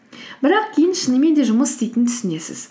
бірақ кейін шынымен де жұмыс істейтінін түсінесіз